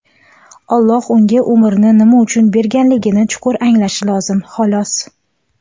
Alloh unga umrni nima uchun berganligini chuqur anglashi lozim, xolos.